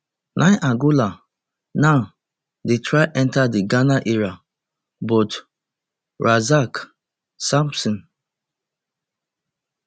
nineangola now dey try enta di ghana area but razak simpson